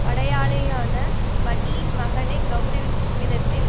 படையாளியான வன்னியின் மகனை கெளரவிக்கும் விதத்தில்